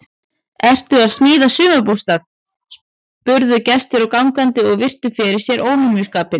Ertu að smíða sumarbústað? spurðu gestir og gangandi og virtu fyrir sér óhemjuskapinn.